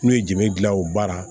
N'u ye je gilan o baara